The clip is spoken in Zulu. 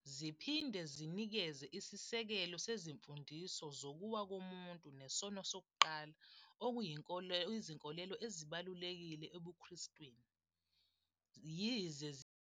Ziphinde zinikeze isisekelo sezimfundiso zokuwa komuntu nesono sokuqala okuyizinkolelo ezibalulekile ebuKristwini, yize zingabanjwanga ebuJudeni noma e- Islam.